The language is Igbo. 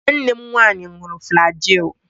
Nwanne m nwanyi ṅụrụ flajil.